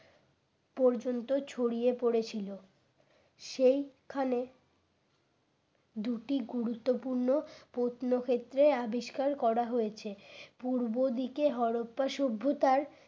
পর্যন্ত ছড়িয়ে পড়েছিল সেই খানে দুটি গুরুত্বপূর্ণ প্রত্ন ক্ষেত্রে আবিষ্কার করা হয়েছে পূর্ব দিকে হরপ্পা সভ্যতার